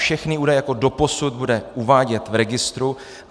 Všechny údaje jako doposud bude uvádět v registru.